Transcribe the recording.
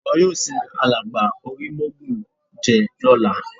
Wọn yóò sin alàgbà Orímọ́ògùnjẹ́ lọ́la